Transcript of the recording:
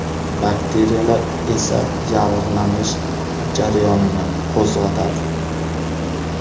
Bakteriyalar esa yallig‘lanish jarayonini qo‘zg‘atadi.